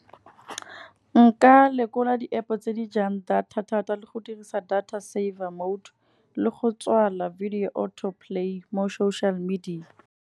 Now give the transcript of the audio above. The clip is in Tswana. Nka lekola di-App-o tse di jang data thata, le go dirisa data saver mode le go tswala video auto play mo social media.